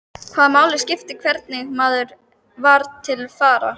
Hvaða máli skipti hvernig maður var til fara?